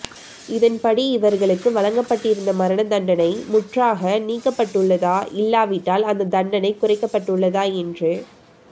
இதன்படி இவர்களுக்கு வழங்கப்பட்டிருந்த மரண தண்டனை முற்றாக நீக்கப்பட்டுள்ளதா இல்லாவிட்டால் அந்த தண்டனை குறைக்கப்பட்டுள்ளதா என்று